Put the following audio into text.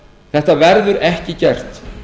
þetta verður ekki gert